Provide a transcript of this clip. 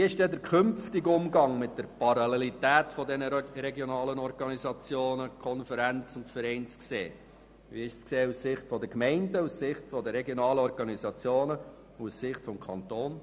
Wie ist nun der künftige Umgang mit der Parallelität der unterschiedlichen regionalen Organisationen zu sehen – aus Sicht der Gemeinden, der regionalen Organisationen sowie des Kantons?